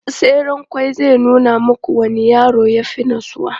tseren ƙwai zai nuna muku wanne yaro ya fi natsuwa